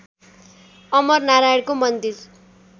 अमर नारायणको मन्दिर